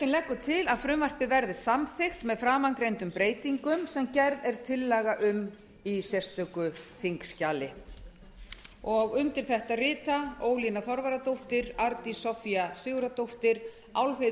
leggur til að frumvarpið verði samþykkt með framangreindum breytingum sem gerð er tillaga um í sérstöku þingskjali undir þetta rita ólína þorvarðardóttir arndís soffía sigurðardóttir álfheiður